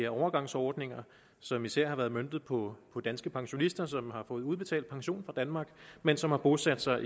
overgangsordninger som især har været møntet på danske pensionister som har fået udbetalt pension fra danmark men som har bosat sig